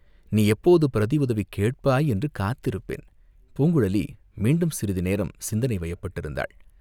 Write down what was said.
நீ எப்போது பிரதி உதவி கேட்பாய் என்று காத்திருப்பேன்." பூங்குழலி மீண்டும் சிறிது நேரம் சிந்தனை வயப்பட்டிருந்தாள்.